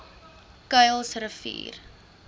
kuilsrivier